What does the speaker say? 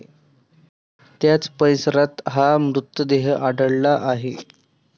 त्याच परिसरात हा मृतदेह आढळला आहे.